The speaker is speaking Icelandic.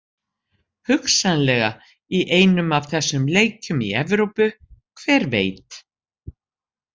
Hugsanlega í einum af þessum leikjum í Evrópu, hver veit?